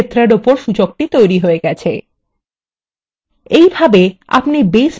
সুতরাং শিরোনাম ক্ষেত্রের উপর সূচকটি তৈরী হয়েছে